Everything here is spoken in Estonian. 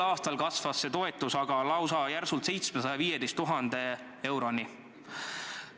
Tänavu kasvas see toetus lausa järsult: 715 000 euroni.